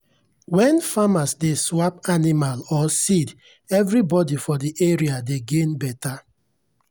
when farmers dey swap animal or seed everybody for the area dey gain better.